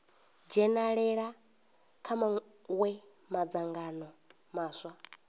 dzhenalela kha mawe madzangano maswa